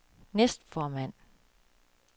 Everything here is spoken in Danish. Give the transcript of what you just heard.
næstformand